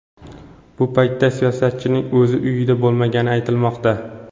Bu paytda siyosatchining o‘zi uyida bo‘lmagani aytilmoqda.